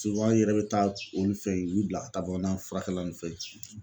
an yɛrɛ bɛ taa olu fɛn, u bila ka taa bamana furakɛla ninnu fɛ yen.